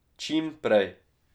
Čim prej.